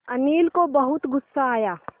अनिल को बहुत गु़स्सा आया